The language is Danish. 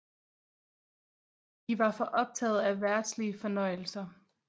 De var for optaget af verdslige fornøjelser